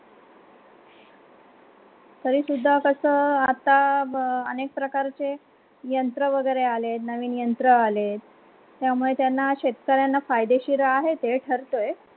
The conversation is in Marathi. तरीसुद्धा कसा आता आणि प्रकारचे यंत्र वगैरे आले नवीन यंत्र आले त्यामुळे त्यांना शेतकर्यांना फायदेशीर आहे ते ठरतोय.